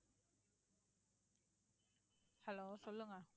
hello சொல்லுங்க